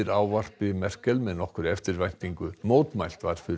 ávarpi Merkel með nokkurri eftirvæntingu mótmælt var fyrir